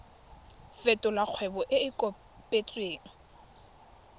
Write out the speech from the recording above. fetolela kgwebo e e kopetswengcc